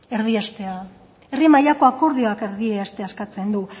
erdiestea herri mailako akordioak erdiestea eskatzen du